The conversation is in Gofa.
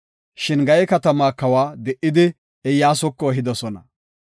Shin Gaye katamaa kawa de7idi, Iyyasuko ehidosona.